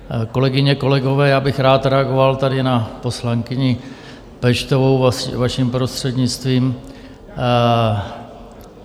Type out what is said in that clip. Kolegyně a kolegové, já bych rád reagoval tady na poslankyni Peštovou, vaším prostřednictvím.